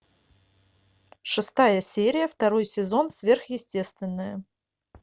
шестая серия второй сезон сверхъестественное